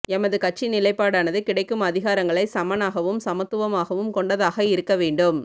எமது கட்சி நிலைப்பாடானது கிடைக்கும் அதிகாரங்களை சமனாகவும் சமத்துவமாகவும் கொண்டதாக இருக்கவேண்டும்